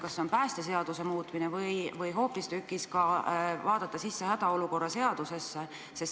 Kas see on päästeseaduse muutmine või tuleks hoopistükkis vaadata sisse hädaolukorra seadusesse?